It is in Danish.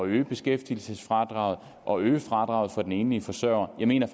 øge beskæftigelsesfradraget og øge fradraget for den enlige forsørger jeg mener